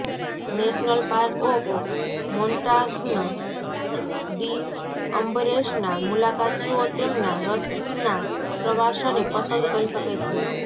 national park of Montagne de અંબરેસના મુલાકાતીઓ તેમના રસના પ્રવાસને પસંદ કરી શકે છે